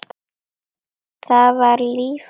Það var líf og fjör.